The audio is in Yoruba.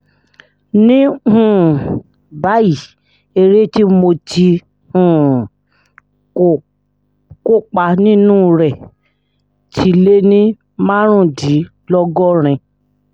ní um báyìí eré tí mo ti um kó kopa nínú ẹ̀ ti lé ní márùndínlọ́gọ́rin